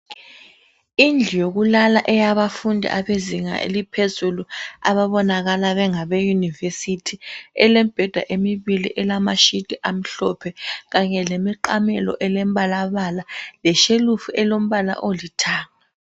Indlu yokulala eyabafundi abezinga eliphezulu ababonakala bengabe University elemibheda emibili elamashiti amhlophe kanye lemiqamelo elembalabala leshelufu elombala olithanga.